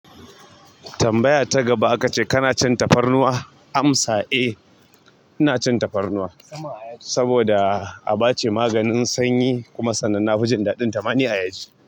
Tambaya ta gaba aka ce kana cin tafarnuwa? Amsa eh, ina cin tafarnuwa saboda a ba ce maganin sanyi kuma sanan nafi jin daɗin tama ni ayaji.